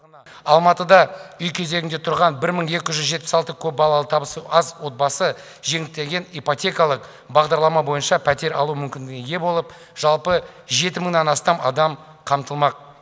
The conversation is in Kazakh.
алматыда үй кезегінде тұрған бір мың екі жүз жетпіс алты көпбалалы табысы аз отбасы жеңілдетілген ипотекалық бағдарлама бойынша пәтер алу мүмкіндігіне ие болып жалпы жеті мыңнан астам адам қамтылмақ